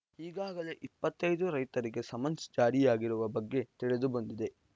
ಈಗಾಗಲೇ ಇಪ್ಪತ್ತ್ ಐದು ರೈತರಿಗೆ ಸಮನ್ಸ್‌ ಜಾರಿಯಾಗಿರುವ ಬಗ್ಗೆ ತಿಳಿದು ಬಂದಿದೆ